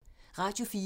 Radio 4